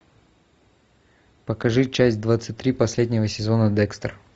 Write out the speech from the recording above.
покажи часть двадцать три последнего сезона декстер